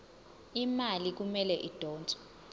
imali kumele idonswe